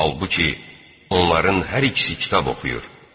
Halbuki, onların hər ikisi kitab oxuyur.